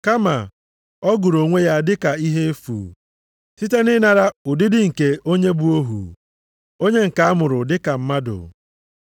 Kama, ọ gụrụ onwe ya dị ka ihe efu, site na ịnara ụdịdị nke onye bụ ohu, onye nke a mụrụ dị ka mmadụ.